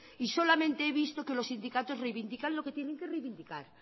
y solamente he visto que los sindicatos reivindican lo que tienen que reivindicar